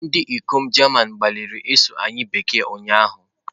Ndị ikom German gbalịrị ịsụ anyị Bekee ụnyahụ.